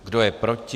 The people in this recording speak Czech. Kdo je proti?